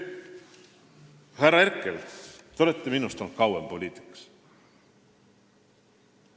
Härra Herkel, te olete minust kauem poliitikas olnud.